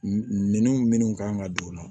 Minɛnw minnu kan ka don u la